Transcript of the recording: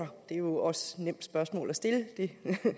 det er jo også et nemt spørgsmål at stille det